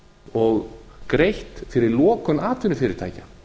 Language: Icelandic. og greitt fyrir lokun atvinnufyrirtækja